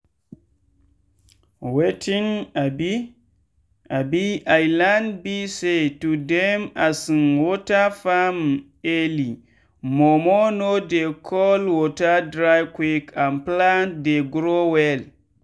wetin um um i learn be sayto dey um water farm early momo no dey all water dry quick and plant dey grow well.